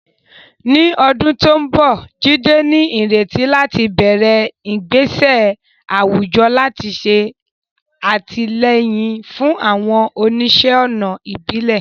Ní ọdún tó ń bọ̀, Jide ní ìrètí láti bẹ̀rẹ̀ ìgbésẹ̀ àwùjọ láti ṣe àtìlẹ́yìn fún àwọn oníṣẹ́-ọnà ìbílẹ̀.